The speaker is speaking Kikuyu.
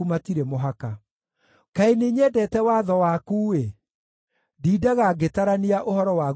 Kaĩ nĩnyendete watho waku-ĩ! Ndindaga ngĩtarania ũhoro waguo mũthenya wothe.